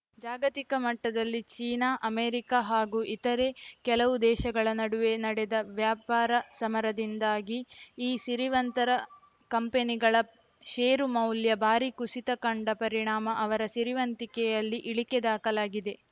ಜಾಗತಿಕ ಮಟ್ಟದಲ್ಲಿ China America ಹಾಗೂ ಇತರೆ ಕೆಲವು ದೇಶಗಳ ನಡುವೆ ನಡೆದ ವ್ಯಾಪಾರ ಸಮರದಿಂದಾಗಿ ಈ ಸಿರಿವಂತರ ಕಂಪನಿಗಳ ಷೇರುಮೌಲ್ಯ ಭಾರೀ ಕುಸಿತ ಕಂಡ ಪರಿಣಾಮ ಅವರ ಸಿರಿವಂತಿಕೆಯಲ್ಲಿ ಇಳಿಕೆ ದಾಖಲಾಗಿದೆ